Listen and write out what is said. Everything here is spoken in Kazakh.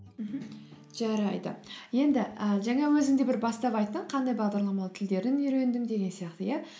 мхм жарайды енді і жаңа өзің де бір бастап айттың қандай бағдарламалау тілдерін үйрендің деген сияқты иә